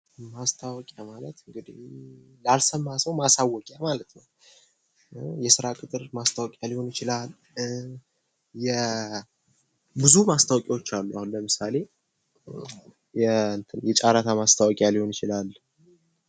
ማስታወቂያ ማቀት እንግዲህ ላልሰማ ሰው ማሳወቂያ ማለት ነው:: የስራ ቅጥር ማስታወቂያ ሊሆን ይችላል የብዙ ማስታወቂያዎች አሉ አሁን ለምሳሌ የጫረታ ማስታወቂያ ሊሆን ይችላል::